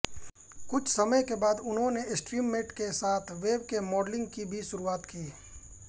कुछ समय के बाद उन्होंने स्ट्रीममेट के साथ वेबकेम मॉडलिंग की भी शुरुआत की